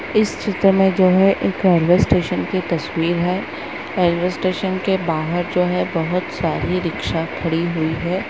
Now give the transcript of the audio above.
इस चित्र में जो है एक रेलवे स्टेशन की तस्वीर है रेलवे स्टेशन के बाहर जो है बहुत सारी रिक्शा खड़ी हुई है ।